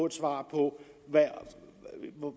et svar på